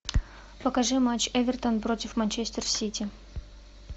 покажи матч эвертон против манчестер сити